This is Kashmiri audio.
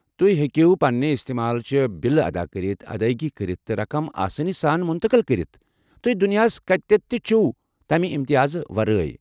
تُہۍ ہیٚکِو پنٛنہِ استمال چہِ بلہٕ ادا کٔرتھ، ادٲیگی کٔرِتھ، تہٕ رقم آسٲنی سان مُنتقٕل کٔرِتھ ،تُہۍ دُنیاہس كتیتھ تہِ چھِو تمہِ امتیازٕ ورٲے۔